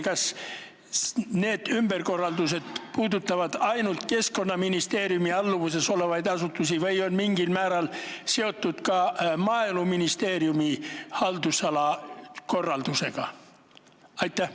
Kas need ümberkorraldused puudutavad ainult Keskkonnaministeeriumi alluvuses olevaid asutusi või on mingil määral seotud ka Maaeluministeeriumi haldusala korraldusega?